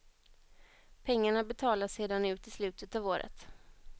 Pengarna betalas sedan ut i slutet av året.